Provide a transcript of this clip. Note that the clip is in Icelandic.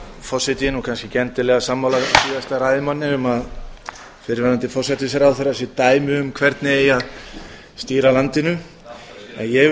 er nú kannski ekki endilega sammála síðasta ræðumanni um að fyrrverandi forsætisráðherra sé dæmi um hvernig eigi að stýra landinu en ég